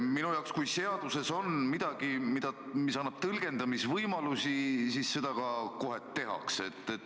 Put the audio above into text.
Minu arvates, kui seaduses on midagi, mis annab tõlgendamisvõimalusi, siis seda ka kohe tehakse.